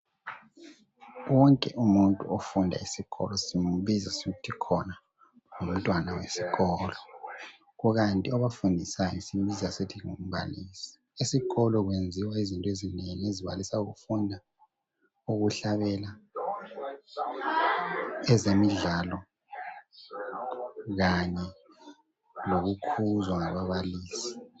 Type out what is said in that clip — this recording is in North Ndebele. wonke umuntu ofunda esikolo simbiza sithi khona ngumntwana wesiskolo kukanti abafundisayo simbiza sisithi ngumbalisi esikolo kwenziwa izinto ezinengi ezibalisa ukufunda ukuhlabela ezemidlalo kanye lokukhuzwa ngababalisi